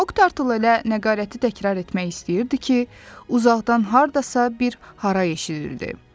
Moktarl elə nəqarəti təkrar etmək istəyirdi ki, uzaqdan hardasa bir haray eşidildi.